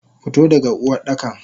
Fito daga Uwardakan!